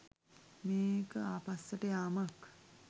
මේක ආපස්සට යාමක්.